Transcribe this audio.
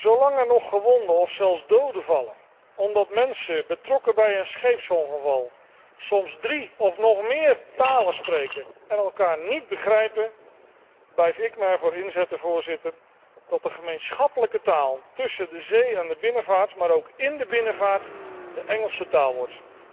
Zolang er nog gewonden of zelfs doden vallen omdat de betrokkenen bij een scheepsongeval soms drie of nog meer talen spreken en elkaar niet begrijpen, blijf ik me ervoor inzetten, Voorzitter, dat de gemeenschappelijke taal tussen de zee en de binnenvaart, maar ook in de binnenvaart de Engelse taal wordt.